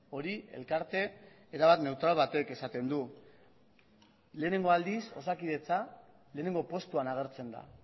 hori elkarte erabat neutral batek esaten du lehenengo aldiz osakidetza lehenengo postuan agertzen da